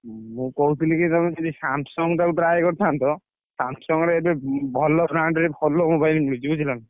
ଉଁ ମୁଁ କହୁଥିଲି କି ତମେ ଯଦି Samsung ଟାକୁ try କରିଥାନ୍ତ Samsung ରେ ଏବେ ଭଲ brand ରେ ଭଲ mobile ମିଳୁଛି ବୁଝିଲ।